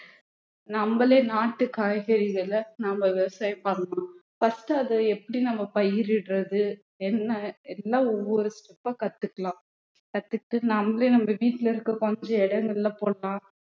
நம்மளே நாட்டு காய்கறிகளை நம்ம விவசாயம் பண்ணணும் first அதை எப்படி நம்ம பயிரிடுறது என்ன எல்லாம் ஒவ்வொரு step ஆ கத்துக்கலாம் கத்துக்கிட்டு நம்மளே நம்ம வீட்டுல இருக்கிற கொஞ்ச இடங்கள்ல போடலாம்